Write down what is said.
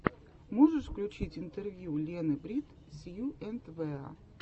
можешь включить интервью лены брит сью энд вэа